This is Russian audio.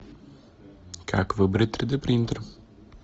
как выбрать три д принтер